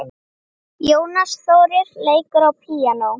Jónas Þórir leikur á píanó.